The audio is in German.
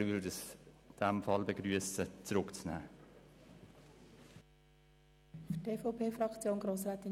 Aber wir würden die Rücknahme in die Kommission begrüssen.